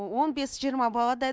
он бес жиырма баладай